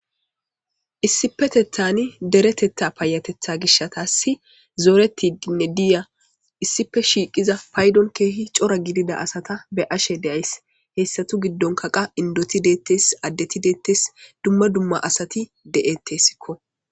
issipetethani deretetha paayatetha gishatassi zooreti dinne diya issipe shiiqiza paydon keehi cora gidida asata be ashe deays heessatu giddonka qa indoti deettes addeti deettes dumma dumma asati de7ettessikko